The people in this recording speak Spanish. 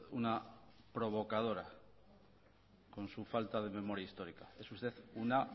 una provocadora con su falta de memoria histórica es usted una